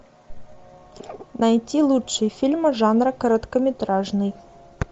найти лучшие фильмы жанра короткометражный